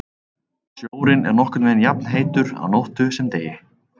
Sjórinn er nokkurn veginn jafnheitur á nóttu sem degi.